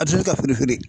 A bɛ se ka funu